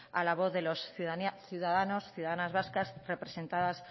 a la voz de los ciudadanos y ciudadanas vascas representadas